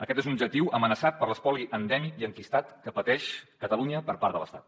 aquest és un objectiu amenaçat per l’espoli endèmic i enquistat que pateix catalunya per part de l’estat